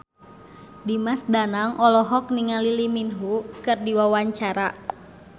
Dimas Danang olohok ningali Lee Min Ho keur diwawancara